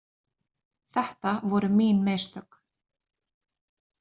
Þetta voru mín mistök.